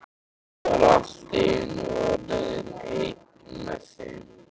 Ég var allt í einu orðinn einn með þeim.